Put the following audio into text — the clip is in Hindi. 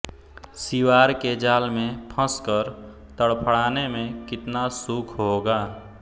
सिवार के जाल में फंसकर तड़फड़ाने में कितना सुख होगा